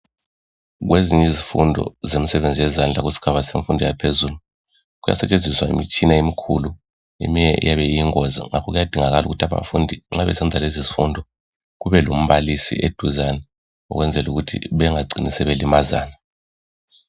Kwezinye izifundo zemsebenzi yezandla, kusigaba semfundo yaphezulu, kuyasetshenziswa imitshina emikhulu. Eminye iyabe iyingozi. Ngakho kuyadingakala, ukuba nxa abafundi besenza lezizifundo, kube lombalisi eduzane, Ukwenzela ukuthi bangacini sebelimazana.